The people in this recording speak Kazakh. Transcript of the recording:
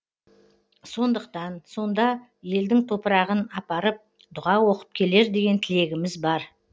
сондықтан сонда елдің топырағын апарып дұға оқып келер деген тілегіміз бар